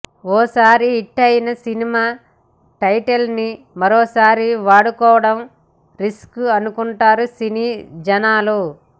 ఓసారి హిట్టయిన సినిమాల టైటిళ్లని మరోసారి వాడుకోవడం రిస్క్ అనుకుంటారు సినీ జనాలు